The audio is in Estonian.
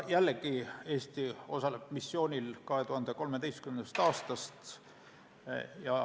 Jällegi, Eesti osaleb missioonis 2013. aastast.